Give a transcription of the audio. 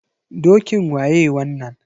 Dokin waye wannan?